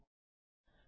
8